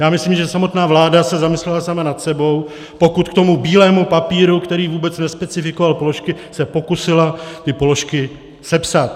Já myslím, že samotná vláda se zamyslela sama nad sebou, pokud k tomu bílému papíru, který vůbec nespecifikoval položky, se pokusila ty položky sepsat.